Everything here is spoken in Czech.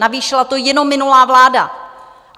Navýšila to jenom minulá vláda.